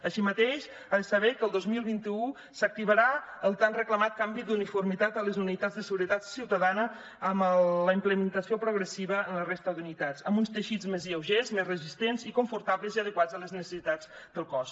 així mateix ha de saber que el dos mil vint u s’activarà el tan reclamat canvi d’uniformitat a les unitats de seguretat ciutadana amb la implementació progressiva en la resta d’unitats amb uns teixits més lleugers més resistents i confortables i adequats a les necessitats del cos